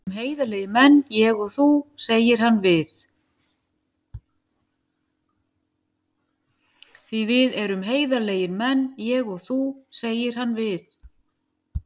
Því við erum heiðarlegir menn, ég og þú, segir hann við